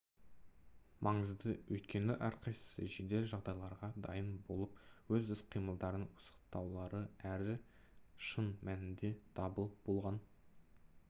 маңызды өйткені әрқайсысы жедел жағдайларға дайын болып өз іс-қимылдарын пысықтаулары әрі шын мәнінде дабыл болған